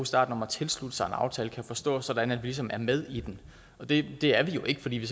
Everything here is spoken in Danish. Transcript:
starten om at tilslutte sig en aftale forstås sådan at vi ligesom er med i den og det er vi jo ikke fordi vi